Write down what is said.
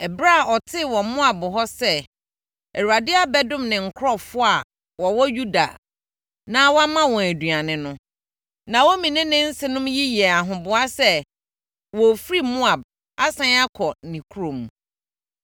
Ɛberɛ a ɔtee wɔ Moab hɔ sɛ Awurade abɛdom ne nkurɔfoɔ a wɔwɔ Yuda na wama wɔn aduane no, Naomi ne ne nsenom yi yɛɛ ahoboa sɛ wɔrefiri Moab asane akɔ ne kurom.